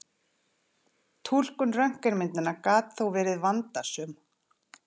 Túlkun röntgenmyndanna gat þó verið vandasöm.